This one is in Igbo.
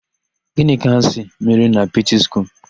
Gịnị ka a sị mere na Pọtiskum?